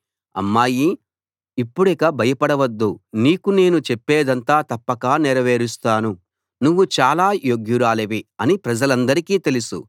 అమ్మాయీ ఇప్పుడిక భయపడవద్దు నీకు నేను చెప్పేదంతా తప్పక నెరవేరుస్తాను నువ్వు చాలా యోగ్యురాలివి అని ప్రజలందరికీ తెలుసు